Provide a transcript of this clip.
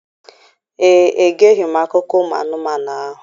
Ee, egeghị m akụkọ ụmụ anụmanụ ahụ.